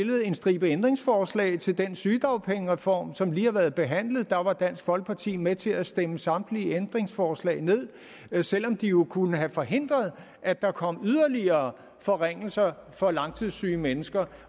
en stribe ændringsforslag til den sygedagpengereform som lige har været behandlet der var dansk folkeparti med til at stemme samtlige ændringsforslag ned selv om de jo kunne have forhindret at der kom yderligere forringelser for langtidssyge mennesker